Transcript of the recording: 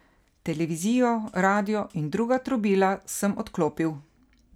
Televizijo, radio in druga trobila sem odklopil.